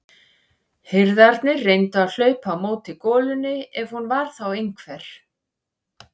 Hirðarnir reyndu að hlaupa á móti golunni ef hún var þá einhver.